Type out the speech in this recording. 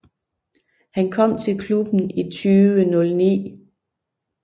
Han kom til klubben i 2009